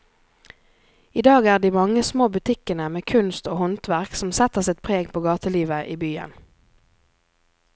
I dag er det de mange små butikkene med kunst og håndverk som setter sitt preg på gatelivet i byen.